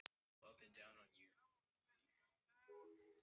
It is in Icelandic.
Bar hann mér nokkra kveðju frá föður mínum?